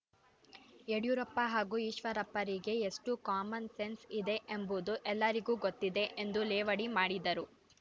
ಯಡಿಯೂರಪ್ಪ ಹಾಗೂ ಈಶ್ವರಪ್ಪರಿಗೆ ಎಷ್ಟು ಕಾಮನ್ ಸೆನ್ಸ್ ಇದೆ ಎಂಬುದು ಎಲ್ಲರಿಗೂ ಗೊತ್ತಿದೆ ಎಂದು ಲೇವಡಿ ಮಾಡಿದರು